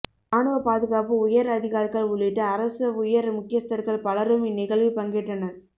இராணுவ பாதுகாப்பு உயர் அதிகாரிகள் உள்ளிட்ட அரச உயர் முக்கியஸ்தர்கள் பலரும் இந்நிகழ்வில் பங்கேற்றனர்